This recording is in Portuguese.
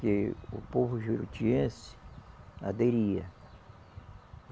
Que o povo jurutiense aderia.